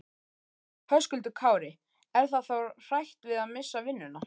Höskuldur Kári: Er það þá hrætt við að missa vinnuna?